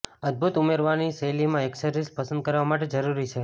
અદભૂત ઉમેરવાની શૈલીમાં એક્સેસરીઝ પસંદ કરવા માટે જરૂરી છે